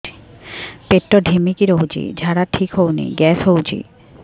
ପେଟ ଢିମିକି ରହୁଛି ଝାଡା ଠିକ୍ ହଉନି ଗ୍ୟାସ ହଉଚି